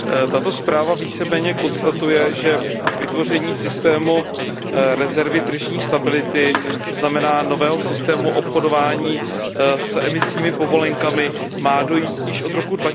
Tato zpráva víceméně konstatuje, že k vytvoření systému rezervy tržní stability, to znamená nového systému obchodování s emisními povolenkami, má dojít již od roku